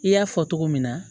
I y'a fɔ cogo min na